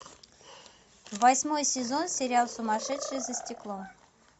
восьмой сезон сериал сумасшедшие за стеклом